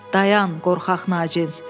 "Dayan, qorxaq naçinz!"